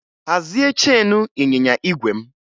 Hazie cheenu ịnyịnya igwe m!